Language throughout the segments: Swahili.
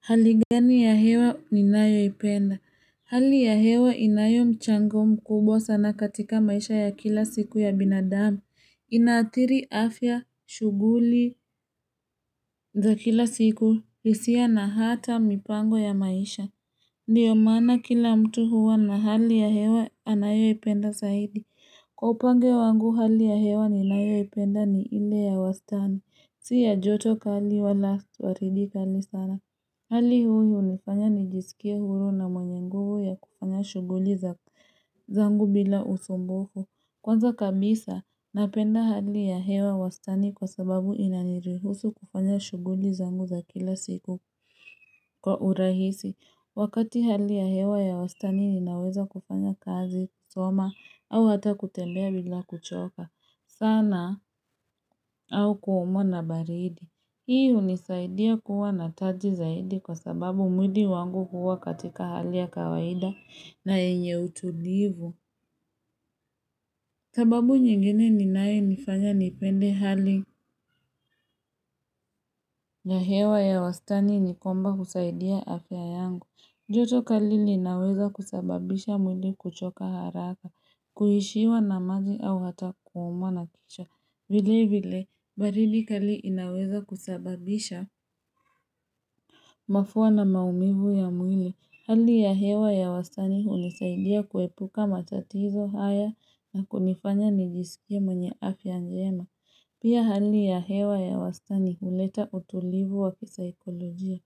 Hali gani ya hewa ninayoipenda? Hali ya hewa inayo mchango mkubwa sana katika maisha ya kila siku ya binadamu. Inaathiri afya shughuli za kila siku hisia na hata mipango ya maisha. Ndio maana kila mtu huwa na hali ya hewa anayoipenda zaidi. Kwa upande wangu hali ya hewa ninayoipenda ni ile ya wastani. Si ya joto kali wala si baridi kali sana. Hali huu hunifanya nijisikie huru na mwenye nguvu ya kufanya shughuli zangu bila usumbufu. Kwanza kabisa, napenda hali ya hewa wastani kwa sababu inanirihusu kufanya shughuli za zangu za kila siku kwa urahisi. Wakati hali ya hewa ya wastani ninaweza kufanya kazi, soma, au hata kutembea bila kuchoka. Sana au kuumwa na baridi. Hii hunisaidia kuwa na taji zaidi kwa sababu mwili wangu huwa katika hali ya kawaida na yenye utulivu. Sababu nyingine inayenifanya nipende hali. Ya hewa ya wastani nikwamba husaidia afya yangu. Joto kali linaweza kusababisha mwili kuchoka haraka, kuishiwa na maji au hata kuumwa na kichwa. Vile vile, baridi kalili inaweza kusababisha. Mafua na maumivu ya mwili. Hali ya hewa ya wastani hunisaidia kuepuka matatizo haya na kunifanya nijisikia mwenye afya njema. Pia hali ya hewa ya wastani huleta utulivu wa kisaikolojia.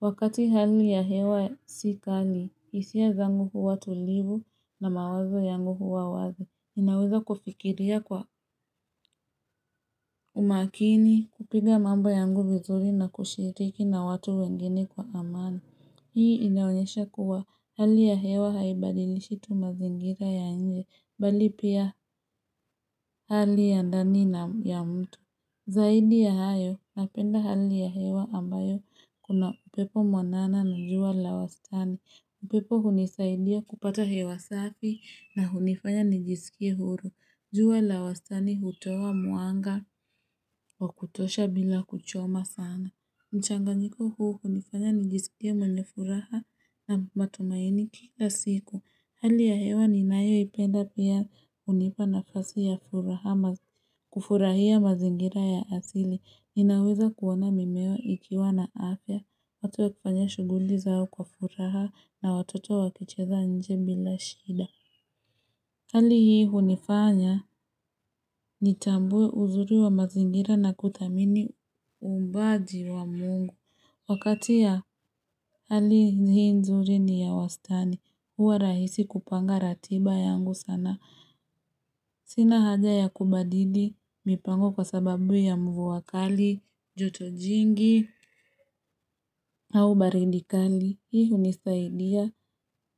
Wakati hali ya hewa si kali hisia zangu huwa tulivu na mawazo yangu huwa wazi. Naweza kufikiria kwa umakini, kupiga mambo yangu vizuri na kushiriki na watu wengine kwa amani. Hii inaonyesha kuwa hali ya hewa haibadilishi tu mazingira ya nje, bali pia hali ya ndani ya mtu. Zaidi ya hayo, napenda hali ya hewa ambayo kuna upepo mwanana na jua la wastani. Upepo hunisaidia kupata hewa safi na hunifanya nijisikie huru. Jua la wastani hutoa mwanga wa kutosha bila kuchoma sana. Mchanganyiko huu hunifanya nijisikie mwenye furaha na matumaini kila siku. Hali ya hewa ninayoipenda pia hunipa nafasi ya furaha kufurahia mazingira ya asili. Ninaweza kuona mimea ikiwa na afya. Watu wakifanya shughuli zao kwa furaha na watoto wakicheza nje bila shida. Hali hii hunifanya nitambue uzuri wa mazingira na kuthamini uumbaji wa mungu. Wakati ya hali hii nzuri ni ya wastani. Huwa rahisi kupanga ratiba yangu sana. Sina haja ya kubadili mipango kwa sababu ya mvua kali, joto jingi au baridi kali. Hii hunisaidia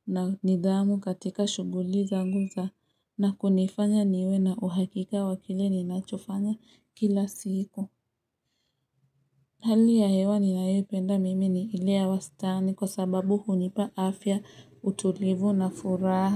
na nidhamu katika shughuli zangu na kunifanya niwe na uhakika wa kile ninachofanya kila siku. Hali ya hewa ninayopenda mimi ni ile ya wastani kwa sababu hunipa afya utulivu na furaha.